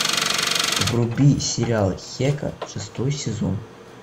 вруби сериал хека шестой сезон